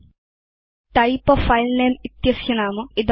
अस्य नाम type a file name इति अस्ति